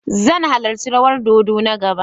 Zan halarci rawan dodo na gaba.